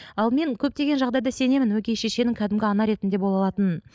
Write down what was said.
ал мен көптеген жағдайда сенемін өгей шешенің кәдімгі ана ретінде бола алатынын